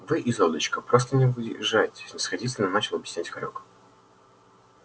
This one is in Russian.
вы изольдочка просто не въезжаете снисходительно начал объяснять хорёк